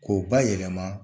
Ko bayɛlɛma